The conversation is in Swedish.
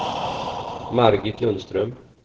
Margit Lundström